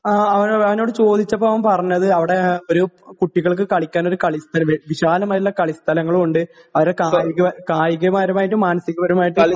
ങാ..അവനോ...അവനോട് ചോദിച്ചപ്പോ അവൻ പറഞ്ഞത് അവിടെ ഒരു കുട്ടികൾക്ക് കളിക്കാനൊരു കളിസ്ഥല..വിശാലമായിട്ടുള്ള കളിസ്ഥലങ്ങളുമുണ്ട് അവിടെ കായികപരമായിട്ടും മനസികാപരമായിട്ടും..